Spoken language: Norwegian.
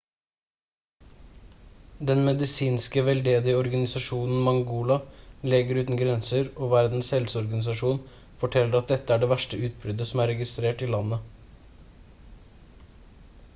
den medisinske veldedige organisasjonen mangola leger uten grenser og verdens helseorganisasjon forteller at dette er det verste utbruddet som er registrert i landet